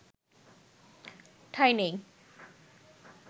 ঠাঁই নেই